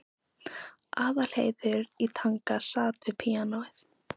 Aðalheiður í Tanga sat við píanóið.